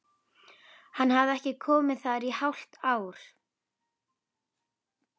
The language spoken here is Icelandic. Hann hafði ekki komið þar í hálft ár!